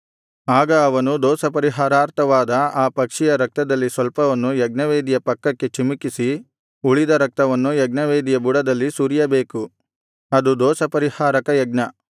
ಆಗ ಅವನು ದೋಷಪರಿಹಾರಾರ್ಥವಾದ ಆ ಪಕ್ಷಿಯ ರಕ್ತದಲ್ಲಿ ಸ್ವಲ್ಪವನ್ನು ಯಜ್ಞವೇದಿಯ ಪಕ್ಕಕ್ಕೆ ಚಿಮುಕಿಸಿ ಉಳಿದ ರಕ್ತವನ್ನು ಯಜ್ಞವೇದಿಯ ಬುಡದಲ್ಲಿ ಸುರಿಯಬೇಕು ಅದು ದೋಷಪರಿಹಾರಕ ಯಜ್ಞ